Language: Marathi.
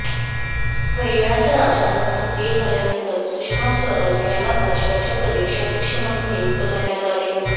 हरियाणाच्या राजकारणात सक्रीय झाल्यानंतर सुषमा स्वराज यांना भाजपाच्या प्रदेशाध्यक्ष म्हाणून नियुक्त करण्यात आले